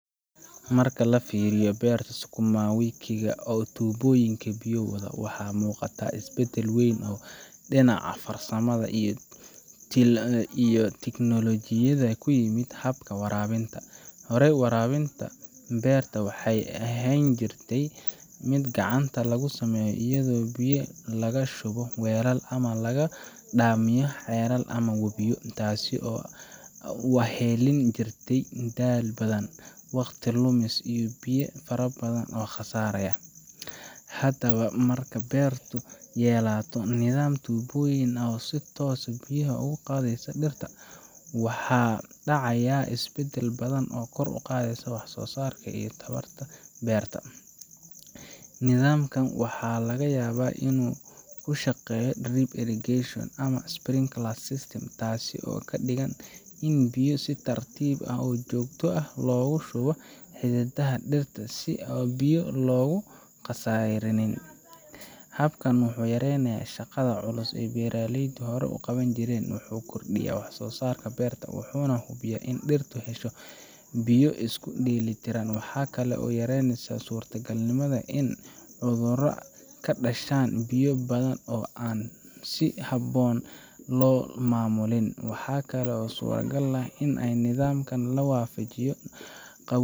Marka la fiiriyo beerta sukuma wiki ga ee leh tuubooyin biyo wada, waxaa muuqata isbeddel weyn oo dhinaca farsamada iyo tiknoolojiyadda ah oo ku yimid habka waraabinta. Horey, waraabinta beerta waxa ay u ahaan jirtay mid gacanta lagu sameeyo iyadoo biyo laga shubo weelal ama laga soo dhaamiyo ceelal ama webiyo. Taas waxaa wehelin jirtay daal badan, waqti lumis, iyo biyo fara badan oo khasaaraya. Haddaba, marka beertu yeelato nidaam tuubooyin ah oo si toos ah biyo ugu qaybiyeysa dhirta, waxa dhacaya isbeddel badan oo kor u qaadaya waxsoosaarka iyo tayada beerta. Nidaamkan waxaa laga yaabaa inuu ku shaqeeyo drip irrigation ama prinkler system taasoo ka dhigan in biyo si tartiib ah oo joogto ah loogu shubo xididdada dhirta si aan biyo looga khasaariyin. Habkan wuxuu yareeyaa shaqada culus ee beeraleydu hore u qaban jireen, wuxuu kordhiyaa waxsoosaarka beerta, wuxuuna hubiyaa in dhirtu hesho biyo isku dheelitiran. Waxa kale oo la yareeyaa suurtagalnimada in cudurro ka dhashaan biyo badan oo aan si habboon loo maamulin. Waxaa kale oo suuragal ah in nidaamkan la waafajiyo.